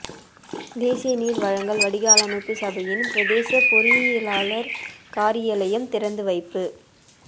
தேசிய நீர் வழங்கள் வடிகாலமைப்பு சபையின் பிரதேச பொறியியலாளர் காரியலயம் திறந்து வைப்பு